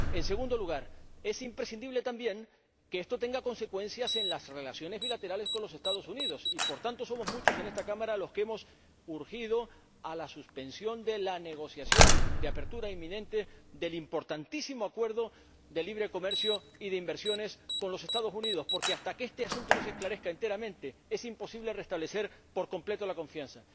En segundo lugar, es imprescindible también que esto tenga consecuencias en las relaciones bilaterales con los Estados Unidos y, por tanto, somos muchos en esta Cámara los que hemos instado a la suspensión de la negociación de apertura inminente del importantísimo acuerdo de libre comercio y de inversiones con los Estados Unidos, porque, hasta que este asunto no se esclarezca enteramente, es imposible restablecer por completo la confianza.